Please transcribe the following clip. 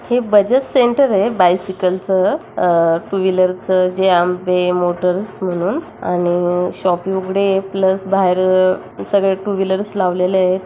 हे बजाज सेंटर आहे बायसिकलचं अह टू व्हीलरचं जय अंबे मोटर्स म्हणून आणि शॉप ही उघडे आहे प्लस बाहेर सगळे टू व्हीलरर्सं लावलेले आहेत.